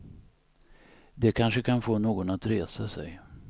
Det kanske kan få någon att resa sig.